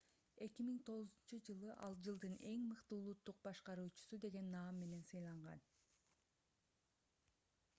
2009-жылы ал жылдын эң мыкты улуттук башкаруучусу деген наам менен сыйланган